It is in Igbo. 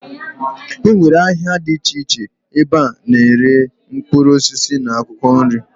E nwere ahịa dị iche iche ebe a na-ere mkpụrụ osisi na akwụkwọ nri.